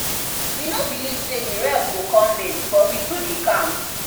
we no believe say the ref go come late but we do the calms